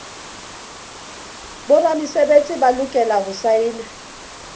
boramesebetsi ba lokela ho saena